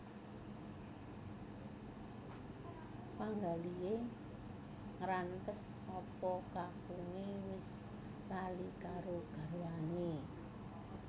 Penggalihe ngrantes apa kakunge wis lali karo garwane